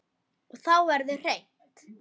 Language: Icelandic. Og þá verður hreint.